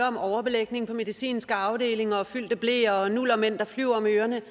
om overbelægning på medicinske afdelinger og fyldte bleer og nullermænd der flyver om ørerne